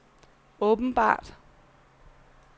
åbenbart